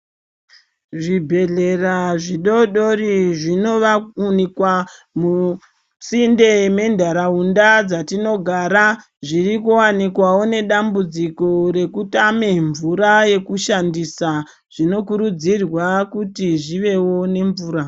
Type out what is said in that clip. Zvibhedhlera zvidodori zvinowanikwa misinde mendaraunda dzatinogara zviri kuwanikwawo nedambudziko rekutama mvura yekushandisa zvinokurudzirwa kuti zvivewo nemvura.